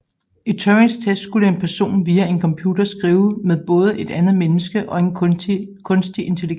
I Turings test skulle en person via en computer skrive med både et andet menneske og en kunstig intelligens